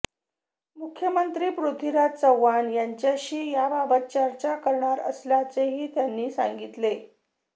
मुख्यमंत्री पृथ्वीराज चव्हाण यांच्याशी याबाबत चर्चा करणार असल्याचेही त्यांनी सांगितले